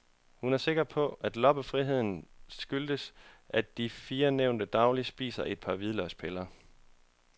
Hun er sikker på, at loppefriheden skyldes, at de fire nævnte dagligt spiser et par hvidløgspiller.